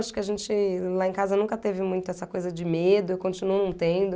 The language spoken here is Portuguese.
Acho que a gente lá em casa nunca teve muito essa coisa de medo, eu continuo não tendo.